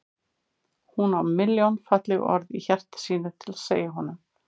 Hún á milljón falleg orð í hjarta sínu til að segja honum.